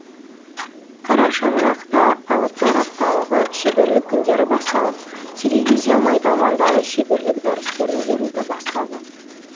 қара шаңырақта алыптар апталығы шеберлік күндері басталып телевизия майталмандары шеберлік дәрістерін беруді бастады